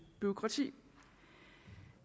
bureaukrati